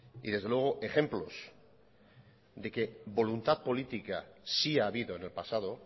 y desde luego ejemplos de que voluntad política sí ha habido en el pasado